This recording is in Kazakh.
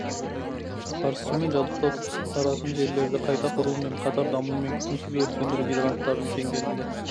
қарсы сумен жабдықтау таратын желілерді қайта құру мен қатар дамумен күтімсіз өрт сөндіру гидранттарындың тенгерімде